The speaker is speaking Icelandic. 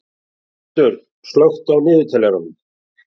Sölmundur, slökktu á niðurteljaranum.